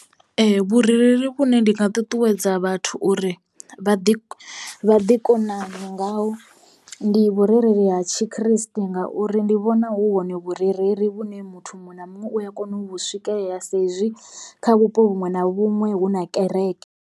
Ee vhurereli vhune ndi nga ṱuṱuwedza vhathu uri vha ḓi vha ḓi konane ngaho ndi vhurereli ha tshikriste ngauri ndi vhona hu hone vhurereli vhune muthu muṅwe na muṅwe uya kona uvhu swikelela saizwi kha vhupo vhuṅwe na vhuṅwe hu na kereke.